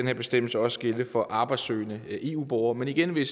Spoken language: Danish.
her bestemmelse også gælde for arbejdssøgende eu borgere men igen vil